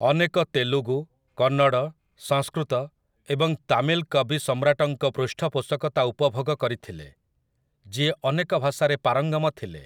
ଅନେକ ତେଲୁଗୁ, କନ୍ନଡ, ସଂସ୍କୃତ ଏବଂ ତାମିଲ କବି ସମ୍ରାଟଙ୍କ ପୃଷ୍ଠପୋଷକତା ଉପଭୋଗ କରିଥିଲେ, ଯିଏ ଅନେକ ଭାଷାରେ ପାରଙ୍ଗମ ଥିଲେ ।